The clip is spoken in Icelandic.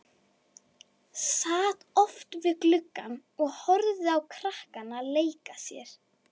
Sat oft við gluggann og horfði á krakkana leika sér.